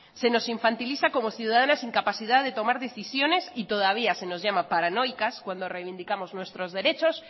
se nos infantiliza como ciudadanas sin capacidad de tomar decisiones y todavía se nos llama paranoicas cuando reivindicamos nuestros derechos